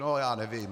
No, já nevím.